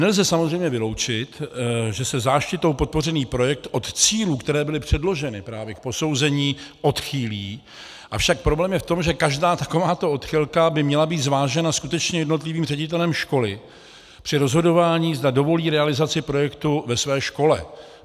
Nelze samozřejmě vyloučit, že se záštitou podpořený projekt od cílů, které byly předloženy právě k posouzení, odchýlí, avšak problém je v tom, že každá takováto odchylka by měla být zvážena skutečně jednotlivým ředitelem školy při rozhodování, zda dovolí realizaci projektu ve své škole.